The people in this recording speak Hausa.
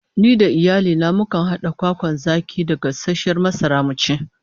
Ni da iyali na mukan hada kwakwan zaki da gasasshiyar masara mu ci